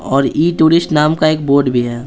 और ई-टूरिस्ट नाम का एक बोर्ड भी है।